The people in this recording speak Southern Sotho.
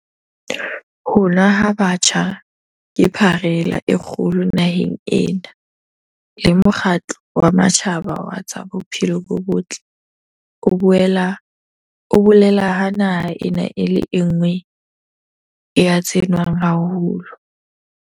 Ho nwa ha batjha ke pharela e kgolo naheng ena, le Mokgatlo wa Matjhaba wa tsa Bophelo bo Botle o bolela ha naha ena e le e nngwe ya tse nwang haholo.